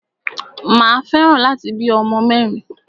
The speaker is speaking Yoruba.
Mà a fẹ́ràn láti bí ọmọ mẹ́rin.